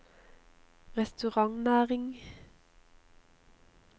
restaurantnæringen